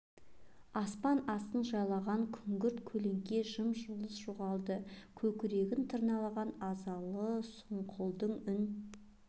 аспан астын жайлаған күнгірт көлеңке жым-жылас жоғалды көкірегін тырналаған азалы сұңқылдың үн